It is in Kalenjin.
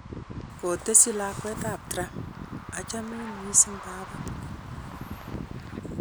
Kotesyi lakwetab Trump;''Achamin mising baba.''